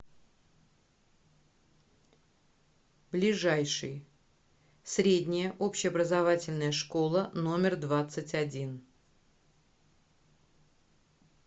ближайший средняя общеобразовательная школа номер двадцать один